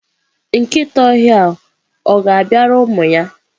nkịta ọhịa ọ̀ ga-abịara ụmụ ya?